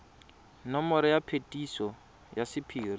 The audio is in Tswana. nomoro ya phetiso ya sephiri